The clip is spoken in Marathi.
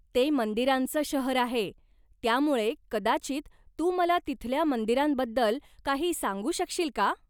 ते मंदिरांचं शहर आहे, त्यामुळे कदाचित तू मला तिथल्या मंदिरांबद्दल काही सांगू शकशील का?